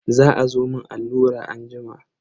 Za azo a mun allura anjima.